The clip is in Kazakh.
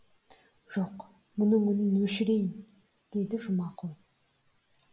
жоқ мұның үнін өшірейін деді жұмакүл